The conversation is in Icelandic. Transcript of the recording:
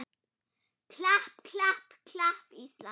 klapp, klapp, klapp, Ísland!